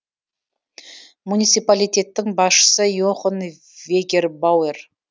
муниципалитеттің басшысы йохан вегербауэр